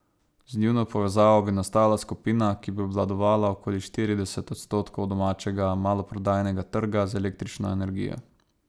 Z njuno povezavo bi nastala skupina, ki bi obvladovala okoli štirideset odstotkov domačega maloprodajnega trga z električno energijo.